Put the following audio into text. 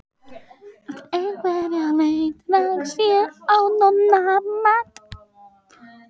Eftir einhverja leit rakst ég á Nonna Matt.